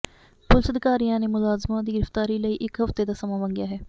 police ਅਧਿਕਾਰੀਆਂ ਨੇ ਮੁਲਜ਼ਮਾਂ ਦੀ ਗ੍ਰਿਫ਼ਤਾਰੀ ਲਈ ਇੱਕ ਹਫ਼ਤੇ ਦਾ ਸਮਾਂ ਮੰਗਿਆ ਹੈ